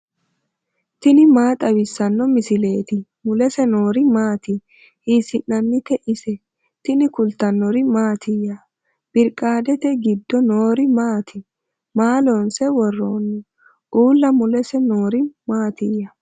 tini maa xawissanno misileeti ? mulese noori maati ? hiissinannite ise ? tini kultannori mattiya? biriqaadete giddo noori maatti? maa loonse woroonni? Uulla mulese noori matiiya?